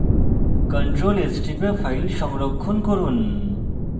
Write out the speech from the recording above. ctrl + s টিপে file সংরক্ষণ করুন